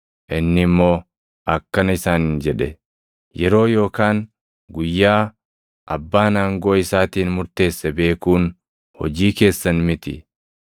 Inni immoo akkana isaaniin jedhe; “Yeroo yookaan guyyaa Abbaan aangoo isaatiin murteesse beekuun hojii keessan miti.